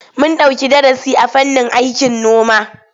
Mun ɗauki darasi a fannin aikin noma.